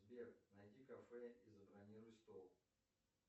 сбер найди кафе и забронируй стол